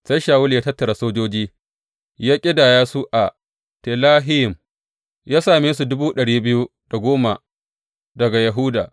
Sai Shawulu ya tattara sojoji, ya ƙidaya su a Telayim, ya sami su dubu ɗari biyu da dubu goma daga Yahuda.